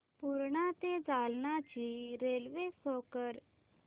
पूर्णा ते जालना ची railway show कर